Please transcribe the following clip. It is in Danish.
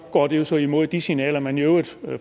går jo så imod de signaler man i øvrigt